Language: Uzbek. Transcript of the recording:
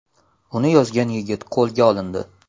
Uni yozgan yigit qo‘lga olindi.